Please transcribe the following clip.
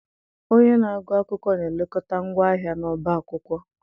Onye na-agụ akwụkwọ na-elekọta ngwa ahịa n'ọbá akwụkwọ.